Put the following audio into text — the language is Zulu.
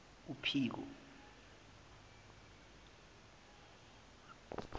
uphiko